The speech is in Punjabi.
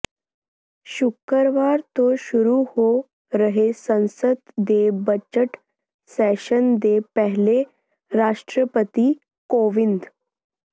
ਸ਼ੁਕਰਵਾਰ ਤੋਂ ਸ਼ੁਰੂ ਹੋ ਰਹੇ ਸੰਸਦ ਦੇ ਬਜ਼ਟ ਸੈਸ਼ਨ ਦੇ ਪਹਿਲੇ ਰਾਸ਼ਟਰਪਤੀ ਕੋਵਿੰਦ